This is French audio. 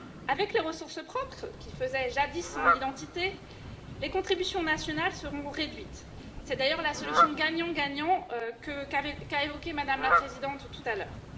Avec les ressources propres, jadis marque d'identité, les contributions nationales seront réduites c'est d'ailleurs la solution gagnant gagnant qu'a évoquée Mme la Présidente tout à l'heure.